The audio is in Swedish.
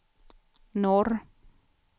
norr